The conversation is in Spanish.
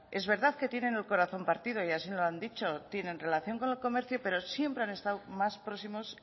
es verdad que tienen el corazón partido y así me lo han dicho tienen relación con el comercio siempre han estado más próximos